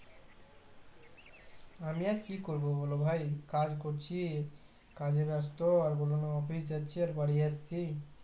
আমি আর ক করবো বলো ভাই কাজ করছি কাজে ব্যাস্ত আর বলোনা office যাচ্ছি আর বাড়ি আসছি।